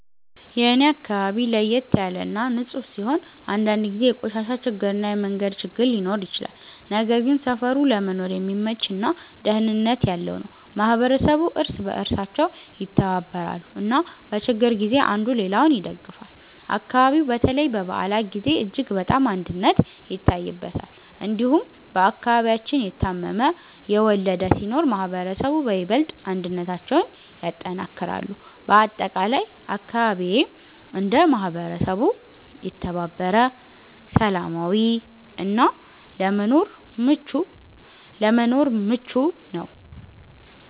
የኔ አካባቢ ለየት ያለ እና ንፁህ ሲሆን፣ አንዳንድ ጊዜ የቆሻሻ ችግር እና የመንገድ ችግር ሊኖር ይችላል። ነገር ግን ሰፈሩ ለመኖር የሚመች እና ደህንነት ያለው ነው። ማህበረሰቡ እርስ በእርሳቸው ይተባበራሉ እና በችግር ጊዜ አንዱ ሌላውን ይደግፋል። አካባቢው በተለይ በበዓላት ጊዜ እጅግ በጣም አንድነት ይታይበታል። እንዲሁም በአከባቢያችን የታመመ፣ የወለደ ሲኖር ማህበረሰቡ በይበልጥ አንድነታቸውን ያጠናክራሉ። በአጠቃላይ አካባቢዬ እንደ ማህበረሰብ የተባበረ፣ ሰላማዊ እና ለመኖር ምቹ ነው።